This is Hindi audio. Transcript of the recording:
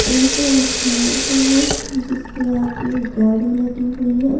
कहीं काड़खाना का है जिसके आगे गाड़ी लगी हुई है।